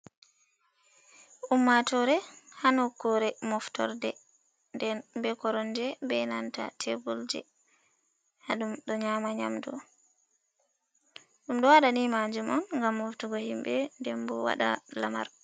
Ummatore hanokkure moftorde, den be koronje be nanta tebbol je ha, ɗum ɗo nyama nyamdu, ɗum ɗo waɗa ni manjum on gam moftugo himɓe, den bo waɗa lamar.